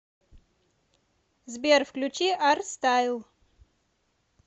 сбер включи арстайл